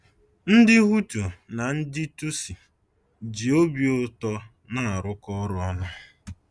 Ndị Hutu na ndị Tutsi ji obi ụtọ na-arụkọ ọrụ ọnụ